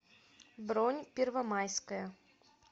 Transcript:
бронь первомайское